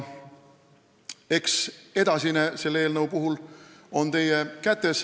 Eks edasine ole selle eelnõu puhul teie kätes.